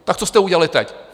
Tak co jste udělali teď?